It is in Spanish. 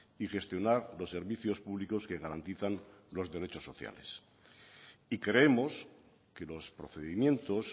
y gestionar los servicios públicos que garantizan los derechos sociales y creemos que los procedimientos